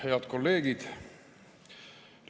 Head kolleegid!